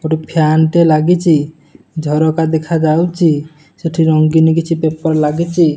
ଗୋଟିଏ ଫ୍ୟାନ ଟେ ଲାଗିଛି ଝରକା ଦେଖାଯାଉଛି ସେଠି ରଙ୍ଗିନ୍ କିଛି ପେପର ଲାଗିଛି।